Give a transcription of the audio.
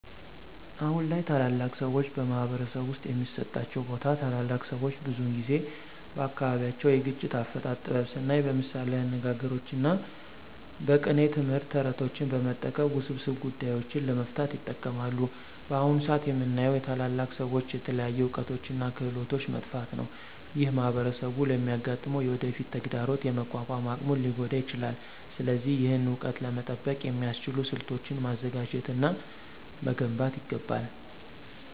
አሁን ላይ ታላላቅ ሰዎች በማኅበረሰብ ውስጥ የሚሰጣቸው ቦታ ታላላቅ ሰዎች ብዙውን ጊዜ በአካባቢያቸው የግጭት አፈታት ጥበብ ስናይ በምሳሌያዊ አነጋግሮች እና በቅኔ ትምህርት፣ ተረቶችን በመጠቀም ውስብስብ ጉዳዮችን ለመፍታት ይጠቀማሉ። በአሁን ሰአት የምናየው የታላላቅ ሰዎች የተለያዩ እውቀቶች እና ክህሎቶች መጥፋት ነው። ይህ ማኅበረሰቡ ለሚያጋጥመው የወደፊት ተግዳሮት የመቋቋም አቅሙን ሊጎዳ ይችላል። ስለዚህ ይህን እውቀት ለመጠበቅ የሚያስችሉ ስልቶችን ማዘጋጀት እና መገንባት ይገባል።